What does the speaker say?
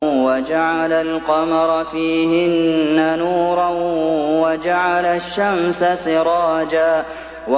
وَجَعَلَ الْقَمَرَ فِيهِنَّ نُورًا وَجَعَلَ الشَّمْسَ سِرَاجًا